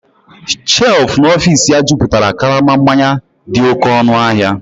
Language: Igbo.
shelf n'ọfịs ya jupụtara karama mmanya dị oké ọnụ ahịa